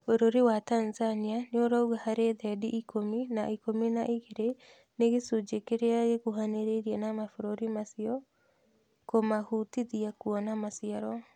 Bũrũri wa Tanzania nĩũrauga harĩ thendi ikũmi na ikũmi na igĩrĩ nĩ gĩcunjĩ kĩrĩa gĩkuhanĩrĩirie na mabũrũri macio kũmahũtithia kwona maciaro